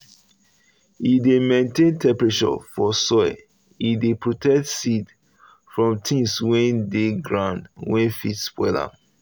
e dey maintain temperature for soil e dey protect seed from things wey dey around wey fit spoil am.